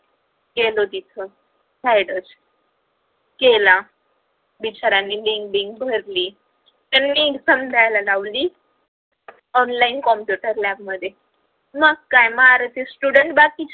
गेलो तिथ zaydus केला सरांनी link blink भरली त्यांनी exam द्यायला लावली online computer lab मध्ये मग काय मारोती student बाकीचे